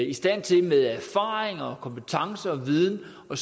i stand til med erfaring kompetence og viden at